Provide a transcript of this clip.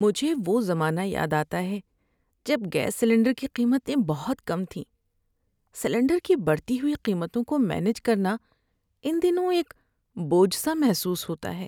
مجھے وہ زمانہ یاد آتا ہے جب گیس سلنڈر کی قیمتیں بہت کم تھیں۔ سلنڈر کی بڑھتی ہوئی قیمتوں کو مینج کرنا ان دنوں ایک بوجھ سا محسوس ہوتا ہے۔